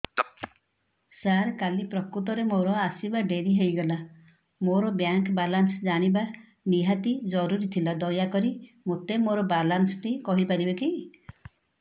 ସାର କାଲି ପ୍ରକୃତରେ ମୋର ଆସିବା ଡେରି ହେଇଗଲା ମୋର ବ୍ୟାଙ୍କ ବାଲାନ୍ସ ଜାଣିବା ନିହାତି ଜରୁରୀ ଥିଲା ଦୟାକରି ମୋତେ ମୋର ବାଲାନ୍ସ ଟି କହିପାରିବେକି